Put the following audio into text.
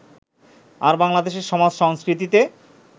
আর বাংলাদেশের সমাজ-সংস্কৃতিতে